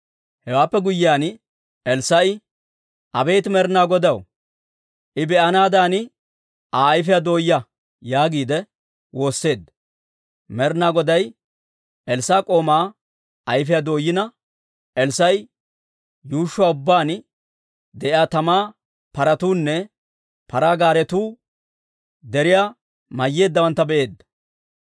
Hewaappe guyyiyaan Elssaa'i, «Abeet Med'ina Godaw, I be'anaadan Aa ayfiyaa dooyaa» yaagiide woosseedda. Med'ina Goday Elssaa'a k'oomaa ayfiyaa dooyina, Elssaa'a yuushshuwaa ubbaan de'iyaa tamaa paratuunne paraa gaaretuunne deriyaa mayyeeddawantta be'eedda.